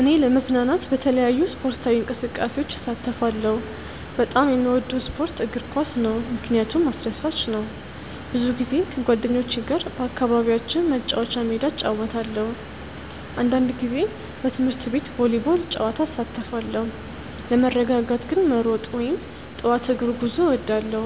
እኔ ለመዝናናት በተለያዩ ስፖርታዊ እንቅስቃሴዎች እሳተፋለሁ። በጣም የምወደው ስፖርት እግር ኳስ ነው፣ ምክንያቱም አስደሳች ነው። ብዙ ጊዜ ከጓደኞቼ ጋር በአካባቢያችን መጫወቻ ሜዳ እጫወታለሁ። አንዳንድ ጊዜ በትምህርት ቤት ቮሊቦል ጨዋታ እሳተፋለሁ። ለመረጋጋት ግን መሮጥ ወይም ጠዋት እግር ጉዞ እወዳለሁ።